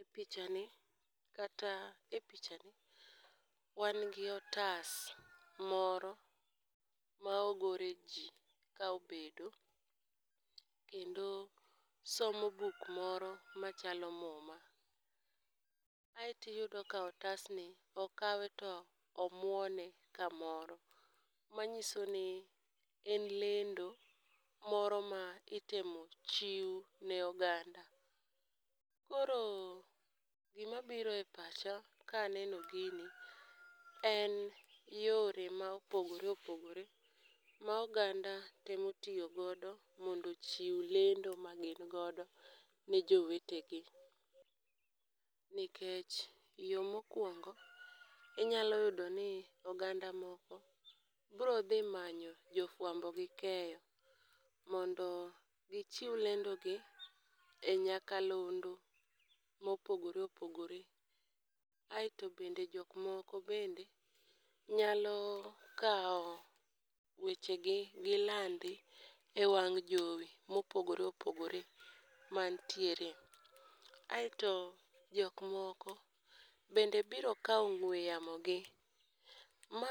E picha ni kata e picha ni wan gi otas moro ma ogore ji ka obedo. Kendo somo buk moro machalo muma, aeti yudo ka otasni okawe to omuone kamoro. Manyiso ni en lendo moro ma itemo chiw ne oganda. Koro gima biro e pacha ka aneno gini en yore ma opogore opogore ma oganda temo tiyogo mondo ochiw lendo ma gin godo ne jowetegi. Nikech yo mokwongo inyalo yudo ni oganda moko bro dhi manyo jofwambo gi keyo, mondo gichiw lendo gi e nyakalondo mopogore opogore. Aeto bende jok moko bende nyalo kawo weche gi gilandi e wang' jowi mopogore opogore mantiere. Aeto jok moko bende biro kawo ng'we yamo gi, ma